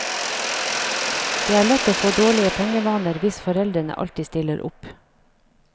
Det er lett å få dårlige pengevaner hvis foreldrene alltid stiller opp.